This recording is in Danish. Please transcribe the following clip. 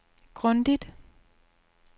grundigt